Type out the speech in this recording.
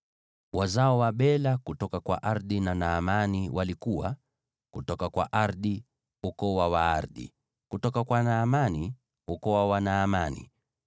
Wazao wa Bela kutoka kwa Ardi na Naamani walikuwa: kutoka kwa Ardi, ukoo wa Waardi; kutoka kwa Naamani, ukoo wa Wanaamani.